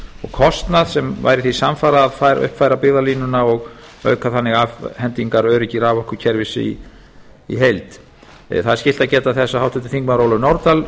kostnað sem væri því samfara að uppfæra byggðalínuna og auka þannig afhendingaröryggi raforkukerfis í heild það er skylt að geta þess að háttvirtir þingmenn ólöf nordal